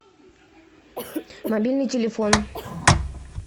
мобильный телефон